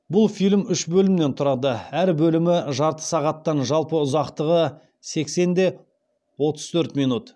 бұл фильм үш бөлімнен тұрады әр бөлімі жарты сағаттан жалпы ұзақтығы сексен де отыз төрт мин